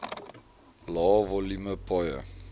lae volume paaie